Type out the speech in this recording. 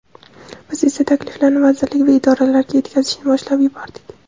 Biz esa takliflarni vazirlik va idoralarga yetkazishni boshlab yubordik.